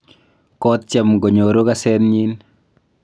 kotyem konyoru kasenyin